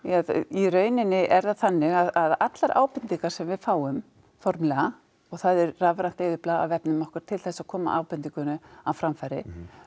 í rauninni er það þannig að allar ábendingar sem við fáum formlega það er rafrænt eyðublað á vefnum okkar til að koma ábendingunum á framfæri